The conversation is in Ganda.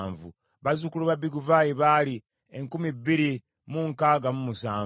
bazzukulu ba Biguvaayi baali enkumi bbiri mu nkaaga mu musanvu (2,067),